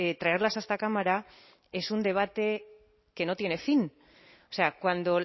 traerlas a esta cámara es un debate que no tiene fin o sea cuando